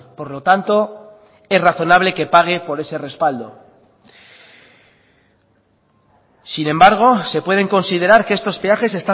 por lo tanto es razonable que pague por ese respaldo sin embargo se pueden considerar que estos peajes